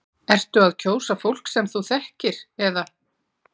Ertu að kjósa fólk sem þú þekkir eða?